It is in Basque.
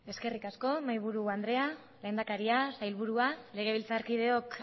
eskerrik asko mahaiburu andrea lehendakaria sailburua legebiltzarkideok